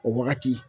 O wagati